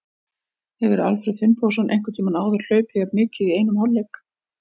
Hefur Alfreð Finnbogason einhvern tímann áður hlaupið jafn mikið í einum hálfleik?